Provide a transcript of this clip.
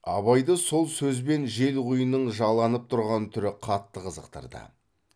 абайды сол сөзбен желқұйынның жаланып тұрған түрі қатты қызықтырды